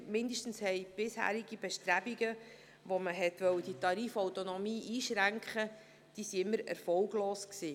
Zumindest waren bisherige Bestrebungen, diese Tarifautonomie einzuschränken, immer erfolglos.